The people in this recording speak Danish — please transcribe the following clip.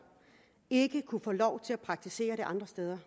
ikke kunne få lov til at praktisere det andre steder